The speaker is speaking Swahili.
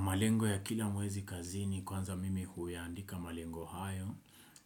Malengo ya kila mwezi kazini kwanza mimi huya andika malengo hayo.